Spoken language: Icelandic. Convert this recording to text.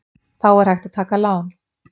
Þá er hægt að taka lán.